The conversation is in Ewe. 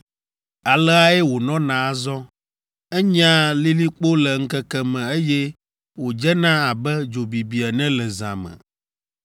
Aleae wònɔna azɔ: enyea lilikpo le ŋkeke me eye wòdzena abe dzo bibi ene le zã me.